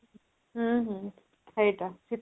ହୁଁ ହୁଁ ସେଇଟା ଶୀତଦିନ